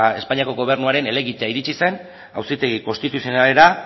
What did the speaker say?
espainiako gobernuaren helegitea iritsi zen auzitegi konstituzionalera